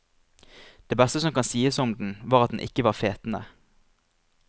Det beste som kan sies om den, var at den ikke var fetende.